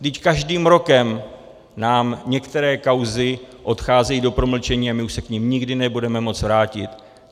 Vždyť každým rokem nám některé kauzy odcházejí do promlčení a my už se k nim nikdy nebudeme moci vrátit.